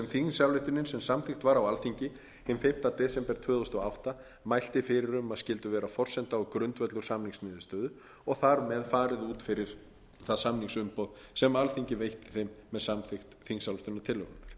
þingsályktunin sem samþykkt var á alþingi hinn fimmta desember tvö þúsund og átta mælti fyrir um að skyldu vera forsenda og grundvöllur samningsniðurstöðu og þar með farið út fyrir það samningsumboð sem alþingi veitti þeim með samþykkt þingsályktunarinnar